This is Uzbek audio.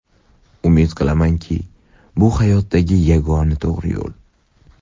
Umid qilamanki, bu hayotdagi yagona to‘g‘ri yo‘l.